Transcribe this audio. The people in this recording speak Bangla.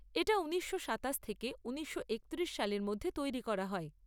এটা ঊনিশশো সাতাশ থেকে ঊনিশশো একত্রিশ সালের মধ্যে তৈরি করা হয়।